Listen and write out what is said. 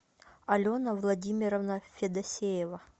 алена владимировна федосеева